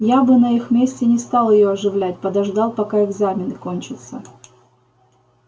я бы на их месте не стал её оживлять подождал пока экзамены кончатся